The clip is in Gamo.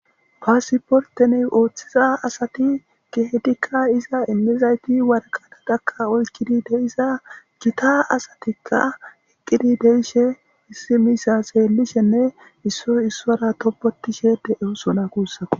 Passiporite othiza assati eqidi deyosona gitta assatikka eqidi deyishe issi misha xelishene issoyi issara tobetishe deyosona gussiko